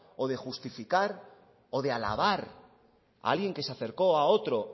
o de justificar o de alabar a alguien que se acercó a otro